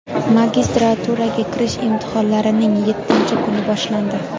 Magistraturaga kirish imtihonlarining yettinchi kuni boshlandi.